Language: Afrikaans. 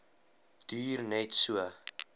duur net so